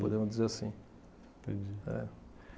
Podemos dizer assim. Entendi. É.